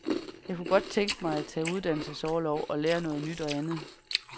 Jeg kunne godt tænke mig at tage uddannelsesorlov og lære noget nyt og andet.